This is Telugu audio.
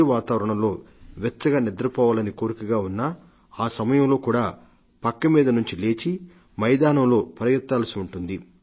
చలి వాతావరణంలో వెచ్చగా నిద్రపోవాలని కోరికగా ఉన్నా ఆ సమయంలో కూడా పక్క మీద నుండి లేచి మైదానంలో పరిగెత్తాల్సి ఉంటుంది